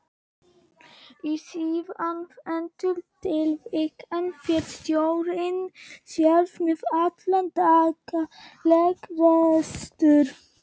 Í síðarnefnda tilvikinu fer stjórnin sjálf með allan daglegan rekstur.